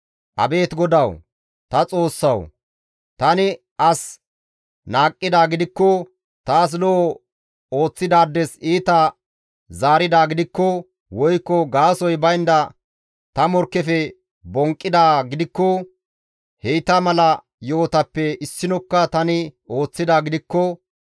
Abeet GODAWU ta Xoossawu! Tani as qohidaa gidikko, taas lo7o ooththidaades iita zaaridaa gidikko, woykko gaasoykka baynda ta morkkefe bonqqidaa gidikko, heyta mala yo7otappe issinokka tani ooththidaa gidikko,